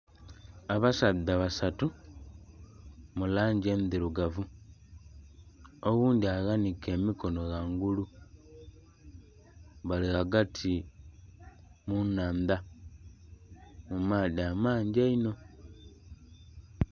Abasaadha basatu mu langi endhirugavu Oghundhi aghanike emikono ghangulu, bali ghagati mu nnhandha, mu maadhi amangi einho.